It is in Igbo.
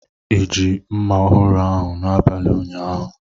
I ji mma ọhụrụ ahụ n'abalị ụnyaahụ?